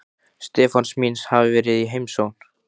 Stefáns míns hafi verið í heimsókn.